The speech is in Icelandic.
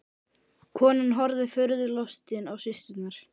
Konan horfði furðu lostin á systurnar.